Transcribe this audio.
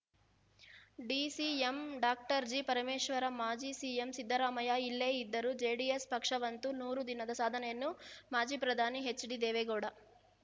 DCM doctor ಜಿಪರಮೇಶ್ವರ ಮಾಜಿ CM Siddaramaiah ಇಲ್ಲೇ ಇದ್ದರು ಜೆಡಿಎಸ್‌ ಪಕ್ಷವಂತೂ ನೂರು ದಿನದ ಸಾಧನೆಯನ್ನು ಮಾಜಿ ಪ್ರಧಾನಿ ಎಚ್‌ಡಿದೇವೇಗೌಡ